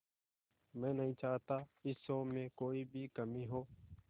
मैं नहीं चाहता इस शो में कोई भी कमी हो